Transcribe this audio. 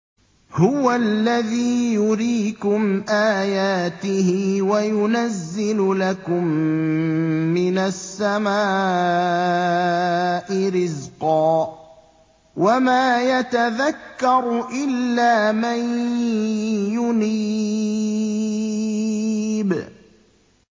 هُوَ الَّذِي يُرِيكُمْ آيَاتِهِ وَيُنَزِّلُ لَكُم مِّنَ السَّمَاءِ رِزْقًا ۚ وَمَا يَتَذَكَّرُ إِلَّا مَن يُنِيبُ